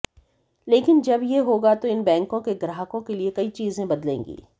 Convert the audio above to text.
लेकिन जब ये होगा तो इन बैंकों के ग्राहकों के लिए कई चीजें बदलेंगी